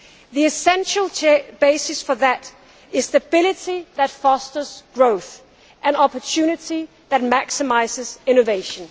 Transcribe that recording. The essential basis for that is stability that fosters growth, and opportunity that maximises innovation.